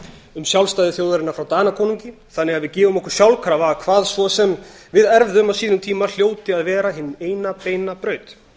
um sjálfstæði þjóðarinnar frá danakonungi þannig að við gefum okkur sjálfkrafa hvað svo sem við erfðum á sínum tíma hljóti að vera hin eina beina braut